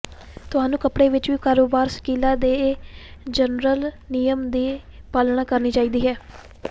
ਤੁਹਾਨੂੰ ਕੱਪੜੇ ਵਿੱਚ ਕਾਰੋਬਾਰ ਸਲੀਕਾ ਦੇ ਜਨਰਲ ਨਿਯਮ ਦੀ ਪਾਲਣਾ ਕਰਨੀ ਚਾਹੀਦੀ ਹੈ